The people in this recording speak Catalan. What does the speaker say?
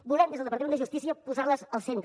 volem des del departament de justícia posar les al centre